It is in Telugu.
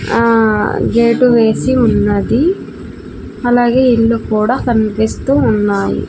ఆ గేటు వేసి ఉన్నది అలాగే ఇల్లు కూడా కన్పిస్తూ ఉన్నాయి.